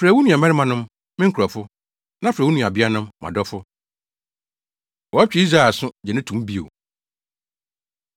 “Frɛ wo nuabarimanom, ‘Me nkurɔfo’ na frɛ wo nuabeanom, ‘Mʼadɔfo.’ ” Wɔtwe Israel Aso, Gye No To Mu Bio